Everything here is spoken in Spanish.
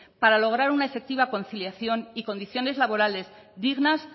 para lograr una efectiva conciliación y condiciones laborales dignas